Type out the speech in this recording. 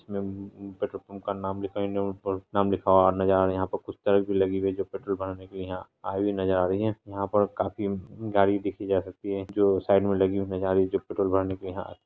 इसमें उम्म petrol pump का नाम लिखा हुआ इंडियन ऑयल नाम लिखा हुआ नजर आ रहा है यहां पे लगी हुई है जो पेट्रोल भराने के लिए यहां आयी हुई नज़र आ रही है यहां पर काफी गाड़ी देखी जा सकती है जो साइड में लगी हुई नजर आ रही है जो पेट्रोल भराने के लिए यहां --